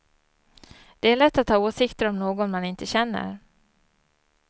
Det är lätt att ha åsikter om någon man inte känner.